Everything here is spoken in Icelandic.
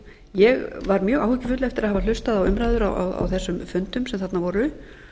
ég var mjög áhyggjufull eftir að hafa hlustað á umræður á þessum fundum sem þarna voru